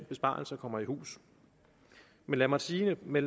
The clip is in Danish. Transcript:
besparelse kommer i hus lad mig sige det med